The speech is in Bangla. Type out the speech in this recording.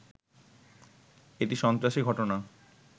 এটি সন্ত্রাসী ঘটনা